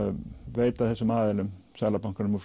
veita þessum aðilum Seðlabankanum og